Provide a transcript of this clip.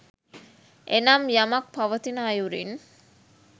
එනම් යමක් පවතින අයුරින්